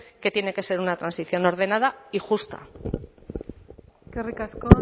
que tiene que ser una transición ordenada y justa eskerrik asko